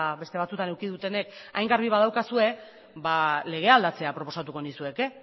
beste batzuetan eduki dutenek hain garbi badaukazue ba legea aldatzea proposatuko nizueke